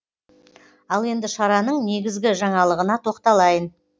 ал енді шараның негізгі жаңалығына тоқталайын